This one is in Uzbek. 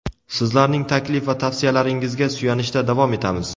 sizlarning taklif va tavsiyalaringizga suyanishda davom etamiz.